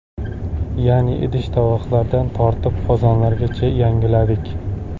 Ya’ni idish-tovoqlardan tortib, qozonlargacha yangiladik.